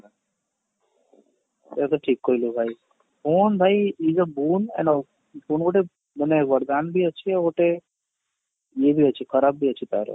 ସେଇଟା ତ ଠିକ କହିଲୁ ଭାଇ phone ଭାଇ ଇଏ ଯଉ phone ଗୋଟେ ମାନେ ବରଦାନ ବି ଅଛି ଆଉ ଗୋଟେ ଇଏ ବି ଅଛି ଖରାପ ଅଛି ତାର